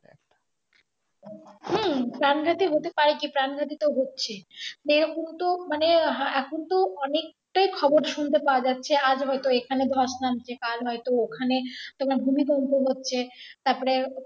হুম প্রাণ ঘাতি হতে পাই কি প্রাণ ঘাতি তো হচ্ছে সেরকম তো মানে এখন তো অনেকটাই খবর সুনতে পাওয়া যাচ্ছে আজ হয়তো দোয়াস নামছে কাল হয়তো ওখানে তোমার ভূমিকম্প হচ্ছে তারপরে